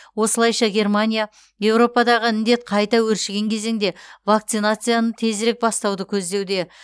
осылайша германия еуропадағы індет қайта өршіген кезеңде вакцинацияны тезірек бастауды көздеуде